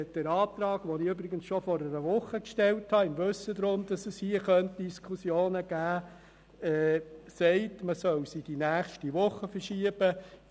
Mein Antrag – den ich übrigens schon vor einer Woche gestellt habe, wissend, dass es hier Diskussionen geben könnte – verlangt, dass das Geschäft auf die nächste Woche verschoben wird.